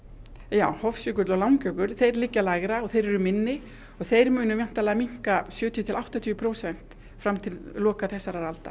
já Hofsjökull og Langjökull liggja lægra og þeir eru minni og þeir munu væntanlega minnka sjötíu til áttatíu prósent fram til loka þessarar aldar